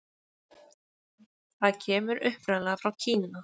Það kemur upprunalega frá Kína.